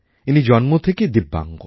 ইনি জন্ম থেকেই দিব্যাঙ্গ